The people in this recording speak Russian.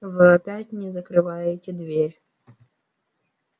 вы опять не закрываете дверь